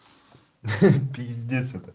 ахаха пиздец это